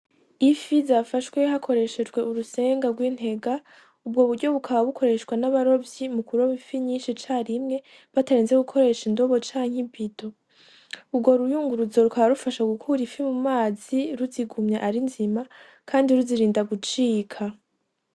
Ifi zafashwe hakoreshejwe urusenga rw'intega, ubwo buryo bukaba bikoreshwa n'abarovyi mu kuroba ifi nyinshi icarimwe batarinze gukoresha indobo canke i bido, urwo ruyunguruzo rukaba rufasha gukura ifi mum'amazi ruzigumya ari nziza kandi ruzirinda gucika.